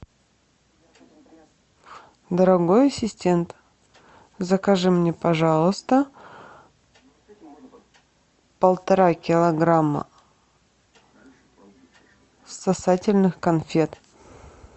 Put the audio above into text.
дорогой ассистент закажи мне пожалуйста полтора килограмма сосательных конфет